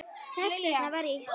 Þess vegna var ég þarna.